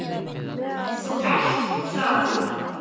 Þú ert það.